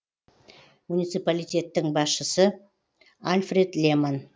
муниципалитеттің басшысы альфред леман